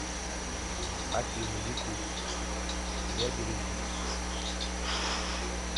афина ютуб себя береги